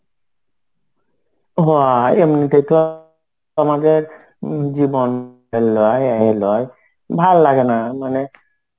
হ্যা এমনিতে তো আমাদের জীবন ভাল লাগে না. মানে